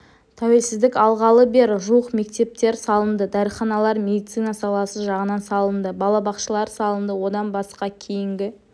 тәуелсіздік алғалы бері жуық мектептер салынды дәріханалар медицина саласы жағынан салынды балабақшалар салынды одан басқа кейінгі